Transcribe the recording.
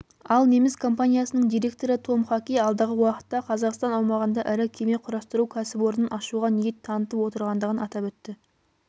ал неміс компаниясының директоры том хаки алдағы уақытта қазақстан аумағында ірі кеме құрастыру кәсіпорнын ашуға ниет танытып отырғандығын атап өтті